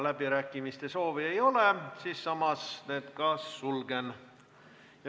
Läbirääkimiste soovi ei ole ja samas ma need ka sulgen.